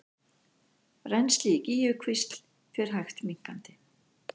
Rennsli í Gígjukvísl fer hægt minnkandi